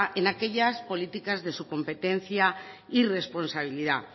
en aquellas políticas de su competencia y responsabilidad